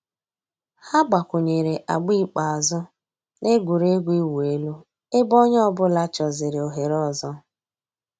Hà gbàkwùnyèrè àgbà ikpeazụ̀ nà ègwè́régwụ̀ ị̀wụ̀ èlù ebe ònyè ọ̀bula chọ̀zị̀rị̀ òhèrè òzò.